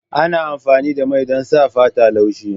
Ana amfani da mai don sa fata laushi.